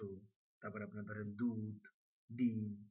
ডিম্